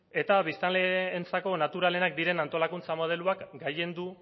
eta biztanleentzako naturalenak diren antolakuntza modeloak gailendu